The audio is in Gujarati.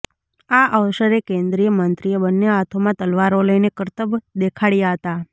આ અવસરે કેન્દ્રીય મંત્રીએ બન્ને હાથોમાં તલવારો લઈને કરતબ દેખાડ્યા હતા